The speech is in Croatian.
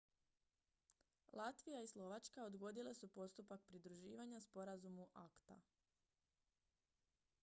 latvija i slovačka odgodile su postupak pridruživanja sporazumu acta